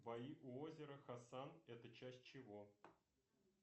бои у озера хасан это часть чего